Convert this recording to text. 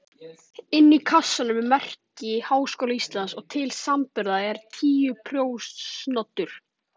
Inni í kassanum er merki Háskóla Íslands og til samanburðar er títuprjónsoddur.